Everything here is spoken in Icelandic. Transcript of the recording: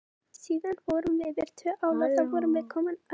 Síðan fórum við yfir tvo ála og þá vorum við komin yfir ána.